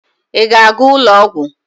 Ị ga-aga ụlọ ọgwụ?